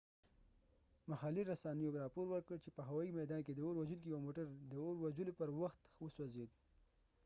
محلي رسنیو راپور ورکړ چې په هوايي میدان کې د اور وژونکي یو موټر د اور وژلو پر وخت وسوځید